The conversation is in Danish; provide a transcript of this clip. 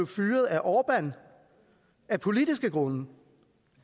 fyret af orbán af politiske grunde